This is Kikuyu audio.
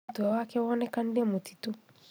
Mũtwe wake wonekanire mũtitũ